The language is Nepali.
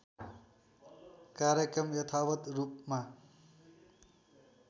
कार्यक्रम यथावत् रूपमा